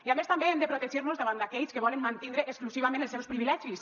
i a més també hem de protegir nos davant d’aquells que volen mantindre exclusivament els seus privilegis